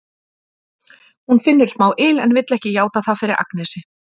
Hún finnur smá yl en vill ekki játa það fyrir Agnesi.